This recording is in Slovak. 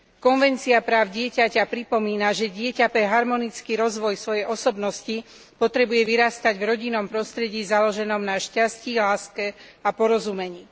Dohovor o právach dieťaťa pripomína, že dieťa pre harmonický rozvoj svojej osobnosti potrebuje vyrastať v rodinnom prostredí založenom na šťastí, láske a porozumení.